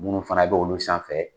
Munnu fana b'olu sanfɛ